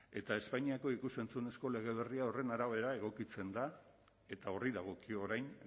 eta espainiako ikus entzunezko lege berri horren arabera egokitzen da eta horri dagokio orain